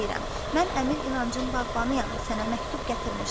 Mən əmir inancın bağbanıyam, sənə məktub gətirmişəm.